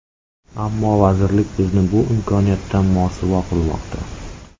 Ammo vazirlik bizni bu imkoniyatdan mosuvo qilmoqda.